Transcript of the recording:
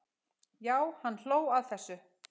Já, hann hló að þessu!